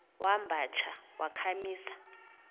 wamba tsha wakhamisa